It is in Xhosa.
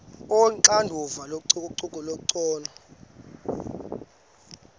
onoxanduva lococeko olungcono